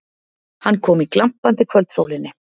Hann kom í glampandi kvöldsólinni.